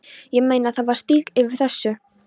Ég meina, það var stíll yfir þessu.